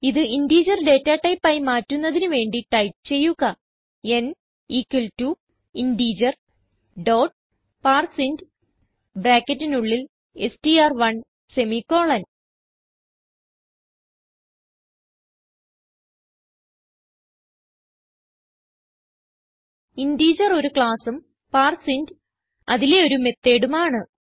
ഇത് integer data type ആയി മാറ്റുന്നതിന് വേണ്ടി ടൈപ്പ് ചെയ്യുക n equal to integer dot parse int ബ്രാക്കറ്റിനുള്ളിൽ str1സെമിക്കോളൻ ഇന്റഗർ ഒരു classഉം പാർസിന്റ് അതിലെ ഒരു methodഉം ആണ്